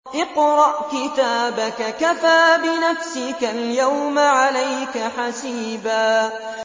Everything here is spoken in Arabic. اقْرَأْ كِتَابَكَ كَفَىٰ بِنَفْسِكَ الْيَوْمَ عَلَيْكَ حَسِيبًا